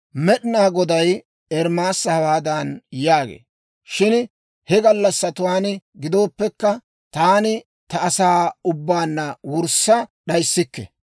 Med'inaa Goday Ermaasa hawaadan yaagee; «Shin he gallassatuwaan gidooppekka, taani ta asaa ubbaanna wurssa d'ayissikke.